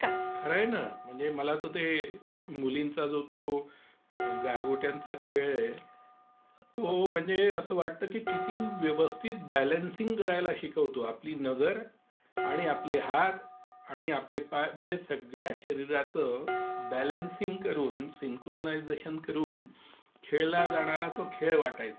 खरंय ना. म्हणजे मला तर ते मुलींचा जो तो गारगोट्यांचा खेळ आहे तो म्हणजे असं वाटतं की किती व्यवस्थित बॅलन्सिंग करायला शिकवतो. आपली नजर आणि आपले हात आणि आपले पाय म्हणजे सगळ्या शरीराचं बॅलन्सिंग करून सिंक्रोनायझेशन करून, खेळला जाणारा तो खेळ वाटायचा.